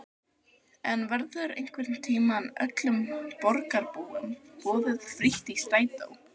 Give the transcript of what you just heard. En verður einhvern tímann öllum borgarbúum boðið frítt í strætó?